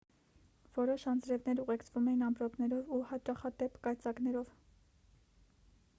որոշ անձրևներ ուղեկցվում էին ամպրոպներով ու հաճախադեպ կայծակներով